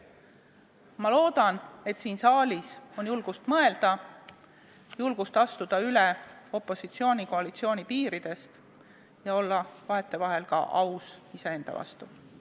Ma loodan, et siin saalis on julgust mõelda, julgust astuda üle opositsiooni-koalitsiooni piiridest ja olla vahetevahel iseenda vastu aus.